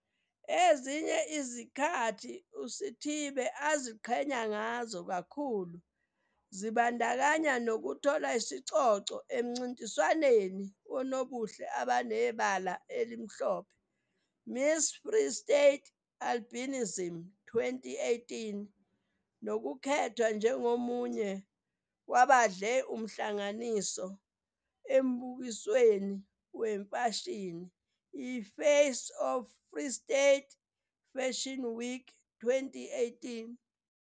Ezinye izinkathi uSithibe aziqhenya ngazo kakhulu zibandakanya ukuthola isicoco emncintiswaneni wonobuhle abanebala elimhlophe i-Miss Free State Albinism 2018 nokukhethwa njengomunye wabadle umhlanganiso embukisweni wemfashini i-Face of Free State Fashion Week 2018.